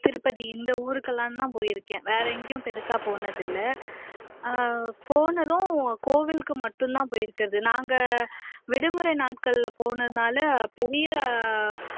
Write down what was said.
திருப்பதி இந்த ஊருக்கெல்லாந்தான் போயிருக்கேன் வேற எங்கேயும் பெருசா போனதில்லை அஹ் போனதும் கோவிலுக்கு மட்டுந்தான் போயிருக்கிறது நாங்க விடுமுறை நாட்கள்ல போனதுனால பெரிய